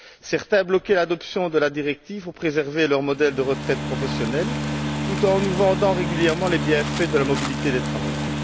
Certains bloquaient l'adoption de la directive pour préserver leur modèle de retraites professionnelles, tout en nous vendant régulièrement les bienfaits de la mobilité des travailleurs...